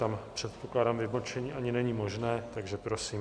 Tam, předpokládám, vybočení ani není možné, takže prosím.